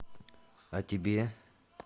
а тебе